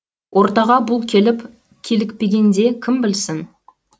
ортаға бұл келіп килікпегенде кім білсін